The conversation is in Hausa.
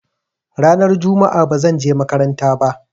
Ranar juma'a ba zan je makaranta ba.